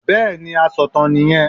Bẹ́ẹ̀ni asọ̀tàn nì yẹn